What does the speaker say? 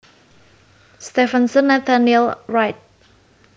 Stephenson Nathaniel Wright